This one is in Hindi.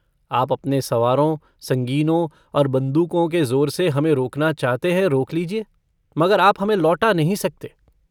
आप अपने सवारों संगीनों और बन्दूकों के जोर से हमें रोकना चाहते हैं रोक लीजिए मगर आप हमें लौटा नहीं सकते।